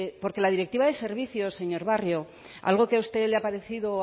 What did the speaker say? porque la directiva de servicios señor barrio algo que a usted le ha parecido o